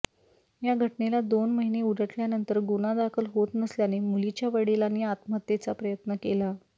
या घटनेला दोन महिने उलटल्यानंतर गुन्हा दाखल होत नसल्याने मुलीच्या वडिलांनी आत्महत्येचा प्रयत्न केला